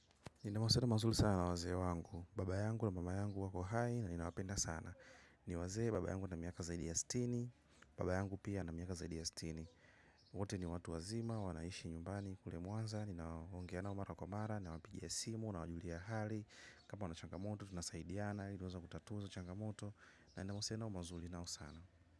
Nina mauhusiano mazuri sana wazee wangu. Baba yangu na mama yangu wako hai na ninawapenda sana. Niwazee baba yangu ana miaka zaidi ya sitini. Baba yangu pia na miaka zaidi ya stini. Wote ni watu wazima, wanaishi nyumbani. Kule mwanza, na ongea nao mara kwa mara. Na wapigia simu na wajulia hali. Kama wana changamoto tunasaidiana ili tuweze kutatua hiyo changamoto. Na nina uhusiano mazuri nao sana.